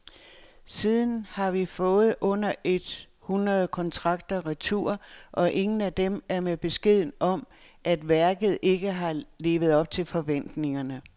Siden har vi fået under et hundrede kontrakter retur, og ingen af dem er med beskeden om, at værket ikke har levet op til forventningerne.